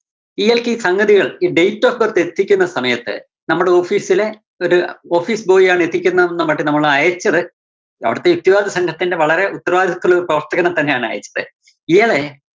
ഇയാൾക്ക് ഈ സംഗതികൾ ഈ date of birth എത്തിക്കുന്ന സമയത്ത്, നമ്മള് office ലെ ഒരു office boy ആണ് എത്തിക്കുന്നത് എന്ന് പറഞ്ഞിട്ട് നമ്മള് അയച്ചത് അവിടുത്തെ യുക്തിവാദി സംഘത്തിന്റെ വളരെ ഉത്തരവാദിത്യത്തിലുള്ള പ്രവര്‍ത്തകനെ തന്നെ ആണ് അയച്ചത്. ഇയാളെ